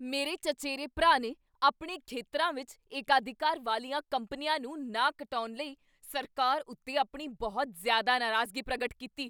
ਮੇਰੇ ਚਚੇਰੇ ਭਰਾ ਨੇ ਆਪਣੇ ਖੇਤਰਾਂ ਵਿੱਚ ਏਕਾਧਿਕਾਰ ਵਾਲੀਆਂ ਕੰਪਨੀਆਂ ਨੂੰ ਨਾ ਕਟਾਉਣ ਲਈ ਸਰਕਾਰ ਉੱਤੇ ਆਪਣੀ ਬਹੁਤ ਜ਼ਿਆਦਾ ਨਾਰਾਜ਼ਗੀ ਪ੍ਰਗਟ ਕੀਤੀ।